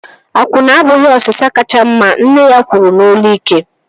Akwụna abụghị osịsa kacha mma! Nne ya kwuru n'olu ike